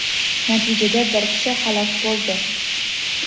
Natijada bir kishi halok bo‘ldi.